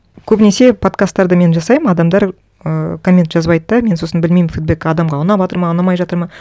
көбінесе подкасттарды мен жасаймын адамдар ыыы коммент жазбайды да мен сосын білмеймін фидбэк адамға ұнаватыр ма ұнамай жатыр ма